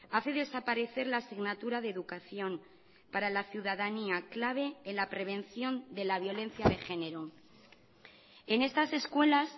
hace desaparecer la asignatura de educación para la ciudadanía clave en la prevención de la violencia de género en estas escuelas